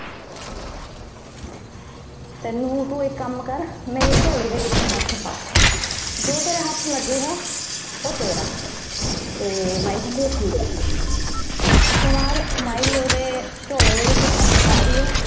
ਤੈਨੂੰ ਤੂੰ ਇਕ ਕਾਮ ਕਰ ਮੇਰੀ ਝੋਲੀ ਦੇ ਵਿੱਚ ਹੱਥ ਪਾ, ਜੋ ਤੇਰੇ ਹੱਥ ਲੱਗੇਗਾ ਉਹ ਤੇਰਾ। ਤੇ ਮਾਈ ਕਹਿੰਦੀ ਠੀਕ ਹੈ। ਉਸ ਤੋਂ ਬਾਅਦ ਮਾਈ ਉਹਦੇ ਝੋਲੇ ਦੇ ਵਿੱਚ ਹੱਥ ਪਾਂਦੀ ਐ।